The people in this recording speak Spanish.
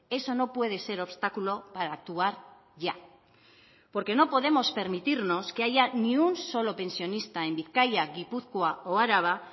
eso no puede ser obstáculo para actuar ya porque no podemos permitirnos que haya ni un solo pensionista en bizkaia gipuzkoa o araba